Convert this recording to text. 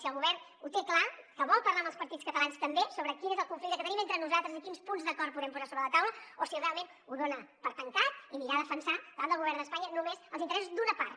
si el govern ho té clar que vol parlar amb els partits catalans també sobre quin és el conflicte que tenim entre nosaltres i quins punts d’acord podem posar sobre la taula o si realment ho dona per tancat i anirà a defensar davant del govern d’espanya només els interessos d’una part